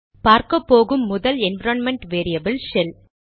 பார்க்கப்போகும் முதல் environment variable shell